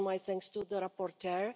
Again, my thanks to the rapporteur.